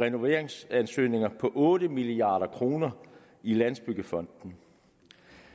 af renoveringsansøgninger på otte milliard kroner i landsbyggefonden